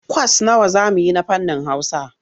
Kwas nawa za mu yi na fannin Hausa?